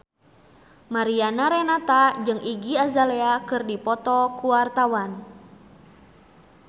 Mariana Renata jeung Iggy Azalea keur dipoto ku wartawan